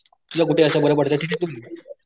तुला कुठं अस बर पडत तिथे लाव.